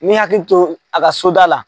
N mi hakili to a ka soda la.